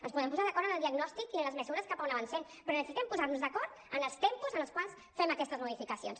ens podem posar d’acord en el diagnòstic i en les mesures cap a on avancem però necessitem posar nos d’acord en els tempos en els quals fem aquestes modificacions